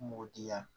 Mugu diya